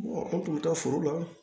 an tun bɛ taa foro la